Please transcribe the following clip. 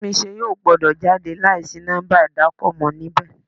Túnmise yóò gbọ́dọ̀ jáde láì sí nọ́ḿbà ìdákọ̀mọ̀ níbẹ̀.